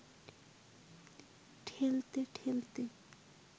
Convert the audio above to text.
ঠেলতে ঠেলতে